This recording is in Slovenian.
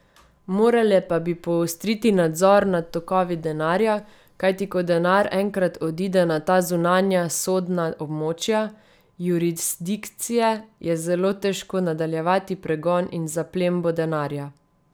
Morale pa bi poostriti nadzor nad tokovi denarja, kajti ko denar enkrat odide na ta zunanja sodna območja, jurisdikcije, je zelo težko nadaljevati pregon in zaplembo denarja.